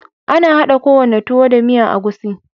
Ana hada ko wane tuwo da miyan egusi.